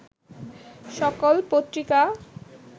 সকল পত্রিকা